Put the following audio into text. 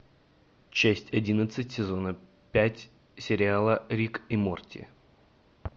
часть одиннадцать сезона пять сериала рик и морти